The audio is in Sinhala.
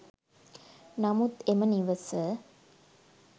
නමුත් එම නිවස